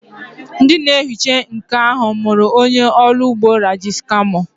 Ndị na-ehicha nkụ ahụ mụrụ onye ọrụ ụgbọ elu Raji's camo.